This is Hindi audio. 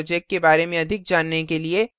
spoken tutorial project के बारे में अधिक जानने के लिए